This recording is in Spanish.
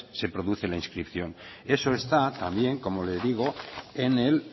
se produce la inscripción eso está también como digo en el